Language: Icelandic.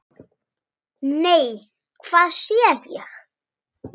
Nei, hvað sé ég!